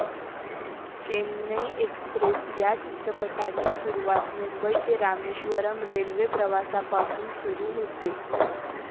Chennai express या चित्रपटाची सुरुवात मुंबई ते रामेश्वरम् रेल्वे प्रवासापासून सुरु होते.